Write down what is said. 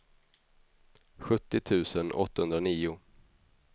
sjuttio tusen åttahundranio